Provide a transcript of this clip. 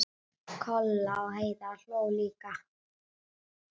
Kolla og Heiða hlógu líka.